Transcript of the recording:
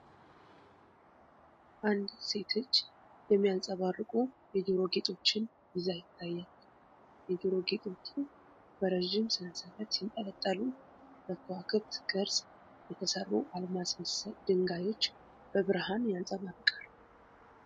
አንዲት ሴት እጅ የሚያንጸባርቁ የጆሮ ጌጦችን ይዛ ይታያል። የጆሮ ጌጦቹ በረዥም ሰንሰለት ሲንጠለጠሉ፣ በከዋክብት ቅርፅ የተሰሩ አልማዝ መሰል ድንጋዮች በብርሃን ያንጸባርቃሉ።